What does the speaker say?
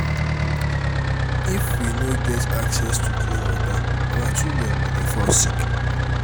if we no get access to clean water our children go dey fall sick.